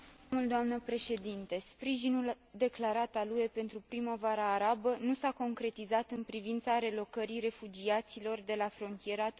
Sprijinul declarat al UE pentru primăvara arabă nu s a concretizat în privința relocării refugiaților de la frontiera tunisiano libiană.